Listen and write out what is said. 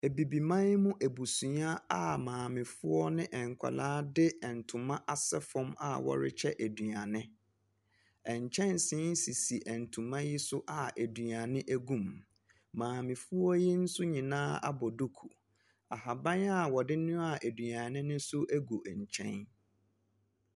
Abibiman mu abusua a maamefoɔ ne nkɔlaa de ɛntoma asɛ fɔm a wɔrekyɛ aduane. Ɛnkyɛnsen sisi ɛntoma yi so a aduane egu mu, maamefoɔ yi nso nyinaa abɔ duku. Ahaban a wɔde noaa aduane ne nso egu ɛnkyɛn.